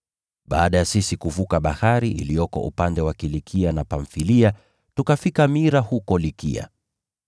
Baada ya sisi kuvuka bahari iliyoko upande wa Kilikia na Pamfilia, tukafika Mira huko Likia.